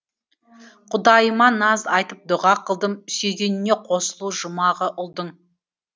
құдайыма наз айтып дұға қылдым сүйгеніне қосылу жұмағы ұлдың